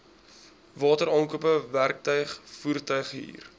wateraankope werktuig voertuighuur